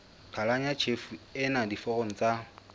qhalanya tjhefo ena diforong tsa